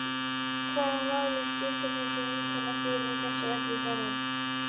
Hvaða máli skiptir þessi vinkona þín í þessu öllu saman?